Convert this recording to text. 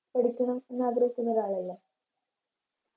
പഠിക്കണം എന്നാഗ്രഹിക്കുന്ന ഒരാളല്ലെ